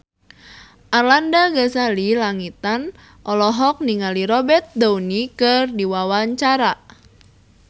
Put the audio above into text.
Arlanda Ghazali Langitan olohok ningali Robert Downey keur diwawancara